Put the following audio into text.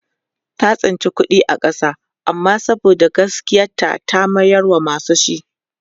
ta tsinci kuɗi a ƙasa amma saboda gaskiyar ta ta mayar wa masu shi